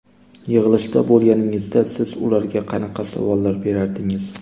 Yig‘ilishda bo‘lganingizda, siz ularga qanaqa savollar berardingiz?